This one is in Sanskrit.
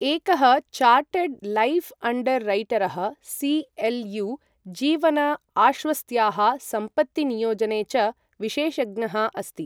एकः चार्टर्ड् लैफ् अण्डर् रैटरः सि.एल्.यू. जीवन आश्वस्त्याः, सम्पत्तिनियोजने च विशेषज्ञः अस्ति।